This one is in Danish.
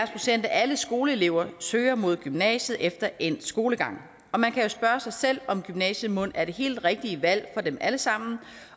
procent af alle skoleelever søger mod gymnasiet efter endt skolegang og man kan jo spørge sig selv om gymnasiet mon er det helt rigtige valg for dem alle sammen